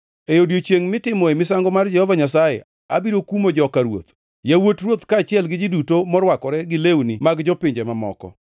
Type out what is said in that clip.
Lingʼuru e nyim Jehova Nyasaye Manyalo Gik Moko Duto; nikech odiechiengʼ mar Jehova Nyasaye chiegni. Jehova Nyasaye oseloso misango, kendo osepwodho joma oseluongo.